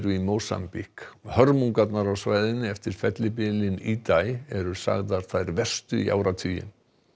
í Mósambík hörmungarnar á svæðinu eftir fellibylinn Idai eru sagðar þær verstu í áratugi